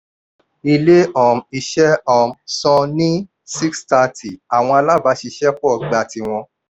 ilé um iṣẹ́ um san ní six thirty àwọn alábàáṣiṣẹ́pọ̀ gba tíwọn.